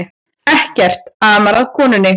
Ekkert amar að konunni